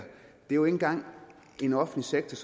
jo ikke engang er en offentlig sektor